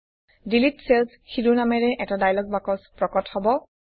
delete cells শিৰোনামেৰে এটা dialog box প্ৰকট হব